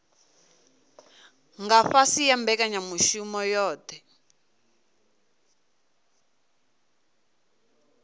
nga fhasi ha mbekanyamushumo yohe